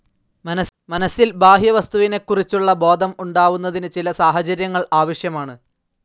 മനസിൽ, ബാഹ്യവസ്തുവിനെക്കുറിച്ചുളള ബോധം ഉണ്ടാവുന്നതിന് ചില സാഹചര്യങ്ങൾ ആവശ്യമാണ്.